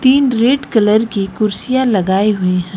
तीन red colour की कुर्सियां लगाए हुए हैं।